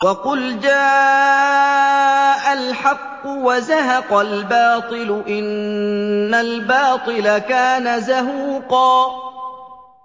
وَقُلْ جَاءَ الْحَقُّ وَزَهَقَ الْبَاطِلُ ۚ إِنَّ الْبَاطِلَ كَانَ زَهُوقًا